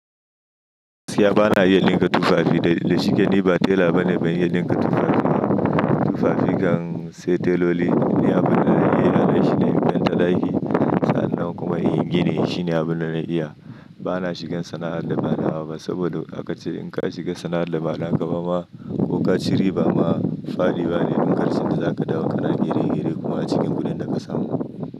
Gaskiya bana iya dinka tufafi, da shike ni ba tela bane ban iya dinka tufafi ba. Tufafi kan sai teloli, ni abin da na iya yi a nan shine in fenta ɗaki. Sannan kuma in yi gini shine ina abin da na iya. Bana shigan sana'ar da ba na hawa ba saboda, aka ce in ka shiga sana'ar da ba naka ba ma ko ka ci riba ma daɗiwa ne. Dunƙarshen da za ka dawo kana niire-niire kuma a cikin wurin da ka samu.